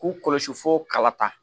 K'u kɔlɔsi fo kala ta